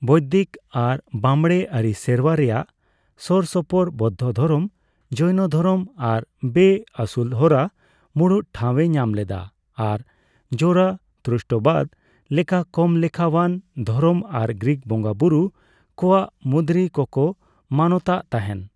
ᱵᱳᱭᱫᱤᱠ ᱟᱨ ᱵᱟᱢᱲᱮ ᱟᱹᱨᱤ ᱥᱮᱨᱣᱟ ᱨᱮᱱᱟᱜ ᱥᱳᱨ ᱥᱳᱯᱳᱨ ᱵᱳᱫᱫᱷᱚ ᱫᱷᱚᱨᱚᱢ, ᱡᱳᱭᱱᱚ ᱫᱷᱚᱨᱚᱢ ᱟᱨ ᱵᱮᱼᱟᱹᱥᱩᱞᱦᱚᱨᱟ ᱢᱩᱲᱩᱫ ᱴᱷᱟᱣᱼᱮ ᱧᱟᱢ ᱞᱮᱫᱟ, ᱟᱨ ᱡᱚᱨᱟᱴᱷᱩᱥᱴᱨᱚᱵᱟᱫ ᱞᱮᱠᱟ ᱠᱚᱢ ᱞᱮᱠᱷᱟᱣᱟᱱ ᱫᱷᱚᱨᱚᱢ ᱟᱨ ᱜᱨᱤᱠ ᱵᱚᱸᱜᱟ ᱵᱩᱨᱩ ᱠᱚᱣᱟᱜ ᱢᱩᱫᱽᱨᱤ ᱠᱚᱠᱚ ᱢᱟᱱᱚᱛ ᱟᱜ ᱛᱟᱦᱮᱸᱱ ᱾